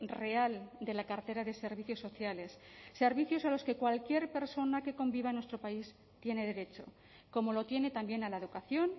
real de la cartera de servicios sociales servicios a los que cualquier persona que conviva en nuestro país tiene derecho como lo tiene también a la educación